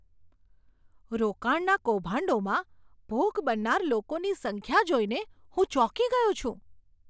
રોકાણના કૌભાંડોમાં ભોગ બનનાર લોકોની સંખ્યા જોઈને હું ચોંકી ગયો છું.